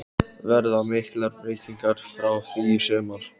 Verða miklar breytingar frá því í sumar?